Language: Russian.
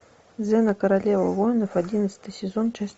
зена королева воинов одиннадцатый сезон часть